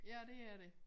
Ja dét er det